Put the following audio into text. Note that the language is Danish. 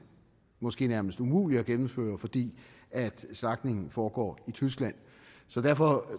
måske nærmest umulig at gennemføre fordi slagtningen foregår i tyskland så derfor